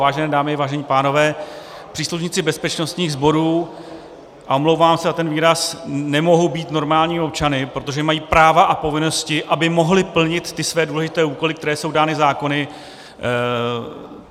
Vážené dámy, vážení pánové, příslušníci bezpečnostních sborů, a omlouvám se za ten výraz, nemohou být normálními občany, protože mají práva a povinnosti, aby mohli plnit ty své důležité úkoly, které jsou dány zákony.